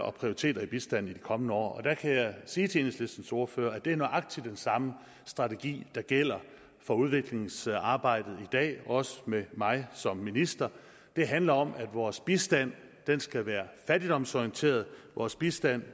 og prioriteter i bistanden i de kommende år og der kan jeg sige til enhedslistens ordfører at det er nøjagtig den samme strategi der gælder for udviklingsarbejdet i dag også med mig som minister det handler om at vores bistand skal være fattigdomsorienteret at vores bistand